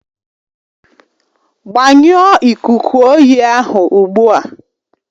Gbanyụọ ikuku oyi ahụ ugbu a